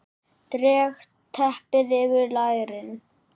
Dreg teppið yfir lærin.